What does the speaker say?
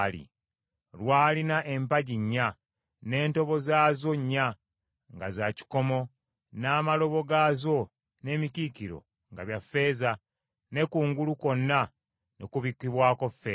Lwalina empagi nnya, n’entobo zaazo nnya nga za kikomo, n’amalobo gaazo n’emikiikiro nga bya ffeeza, ne kungulu kwonna ne kubikkibwako ffeeza.